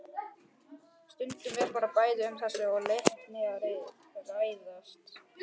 Stundum er bæði um þrengsli og leka að ræða.